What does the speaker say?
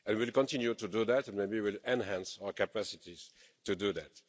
And we will continue to do that and maybe will enhance our capacities to do that.